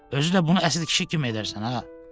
Özü də bunu əsl kişi kimi edərsən, hə?